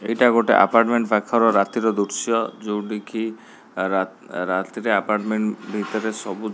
ଏଇଟା ଗୋଟେ ଆପଟମେଣ୍ଟ ପାଖର ରାତିର ଦୃଶ୍ୟ ଯୋଉଠିକି ରାତ ରାତିରେ ଏପଟମେଣ୍ଟ ଭିତରେ ସବୁ --